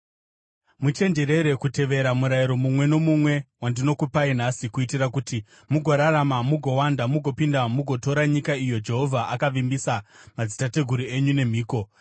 Muchenjerere kutevera murayiro mumwe nomumwe, wandinokupai nhasi, kuitira kuti mugorarama, mugowanda, mugopinda mugotora nyika iyo Jehovha akavimbisa madzitateguru enyu nemhiko.